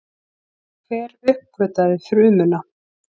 Hver uppgötvaði frumuna?